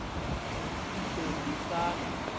ḓ o ḓ isa n